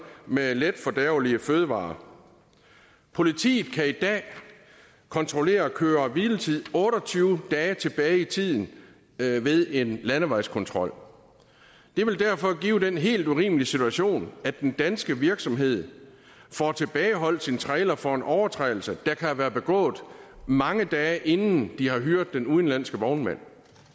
med letfordærvelige fødevarer politiet kan i dag kontrollere køre hvile tid otte og tyve dage tilbage i tiden ved ved en landevejskontrol det vil derfor give den helt urimelige situation at den danske virksomhed får tilbageholdt sin trailer for en overtrædelse der kan være blevet begået mange dage inden de har hyret den udenlandske vognmand